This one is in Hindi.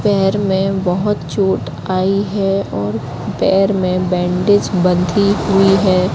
पैर में बहोत चोट आयी है और पैर में बैंडेज बंधी हुई है।